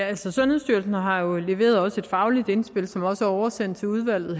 altså sundhedsstyrelsen har jo også leveret et fagligt indspil som også er oversendt til udvalget